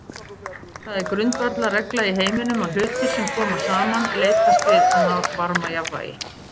Það er grundvallarregla í heiminum að hlutir sem koma saman leitast við að ná varmajafnvægi.